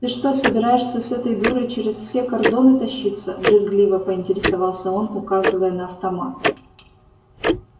ты что собираешься с этой дурой через все кордоны тащиться брезгливо поинтересовался он указывая на автомат